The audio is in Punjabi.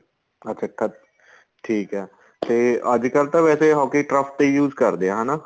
ਅੱਛਾ ਕੱਦ ਠੀਕ ਏ ਤੇ ਅੱਜਕਲ ਤਾਂ ਵੈਸੇ hockey turf ਤੇ use ਕਰਦੇ ਏ ਹਨਾ